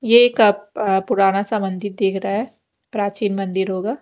ये एक पुराना सा मंदिर देख रहा है प्राचीन मंदिर होगा।